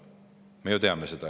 Me ju teame seda.